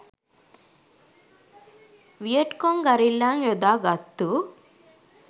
Viet Cong ගරිල්ලන් යොදාගත්තු